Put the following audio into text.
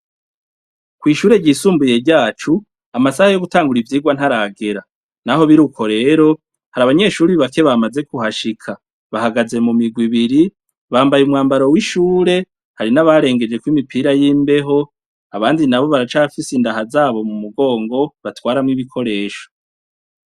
Kw' ishure ryisumbuye ryacu, amasaha yo gutangura ivyirwa ntaragera. Naho birukwo rero, hari abanyeshuri bake bamaze kuhashika . Bahagaze mu mirwi ibiri , bambaye umwambaro w' ishure , hari n' abarengejeko imipira y' imbeho, abandi nabo baracafise indaha zabo mu mugongo, batwaramwo ibikoresho .